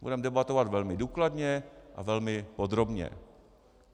Budeme debatovat velmi důkladně a velmi podrobně.